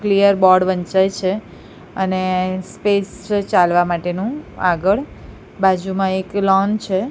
Clear board વંચાય છે અને સ્પેસ ચાલવા માટેનું આગળ બાજુમાં એક લોન છે.